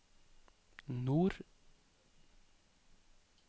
nord